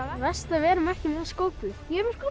verst að við erum ekki með skóflu ég er með skóflu